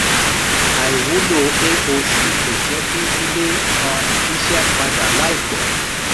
àìwúlò aoc kò jẹ́ kí ilé um iṣẹ́ padà láìpẹ́.